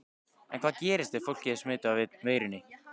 En hvað gerist ef fólkið er smitað af veirunni?